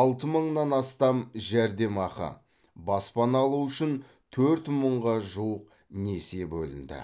алты мыңнан астам жәрдемақы баспана алу үшін төрт мыңға жуық несие бөлінді